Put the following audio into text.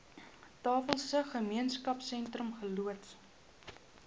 tafelsig gemeenskapsentrum geloods